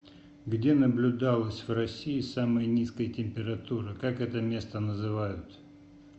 где наблюдалось в россии самая низкая температура как это место называют